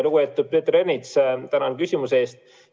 Lugupeetud Peeter Ernits, tänan küsimuse eest!